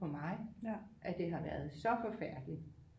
På mig at det har været så forfærdeligt